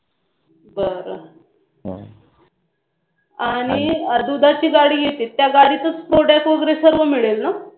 बरं आणि दुधाची गाडी येते त्या गाडीतच product वगैरे सर्व मिळेल नंं?